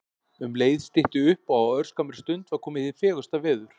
Um leið stytti upp og á örskammri stund var komið hið fegursta veður.